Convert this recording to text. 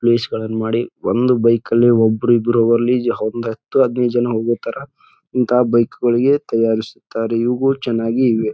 Place ಗಳನ್ನೂ ಮಾಡಿ ಒಂದು ಬೈಕ್ ಅಲ್ಲಿ ಒಬ್ರು ಇಬ್ರು ಹೋಗೊಲ್ಲಿ ಒಂದ್ ಹತ್ತು ಹದ್ನಾಯ್ಡು ಜನ ಹೋಗೋ ತರ ಇಂಥಾ ಬೈಕ್ ಗುಳಿಗೆ ತಯಾರಿಸುತ್ತಾರೆ ಇವು ಚೆನ್ನಾಗಿ ಇವೆ.